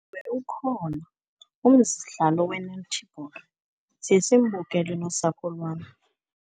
Ukhona umdlalo we-netball, siye simbukele nosapho lwam.